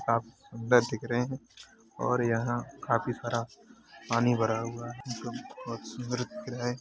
सुंदर दिख रहे हैं और यहां काफी सारा पानी भरा हुआ है बहोत सुंदर दिख रहे हैं।